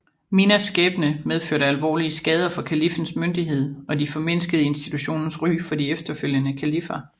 Mihnas skæbne medførte alvorlige skader for kaliffens myndighed og formindskede institutionens ry for de efterfølgende kaliffer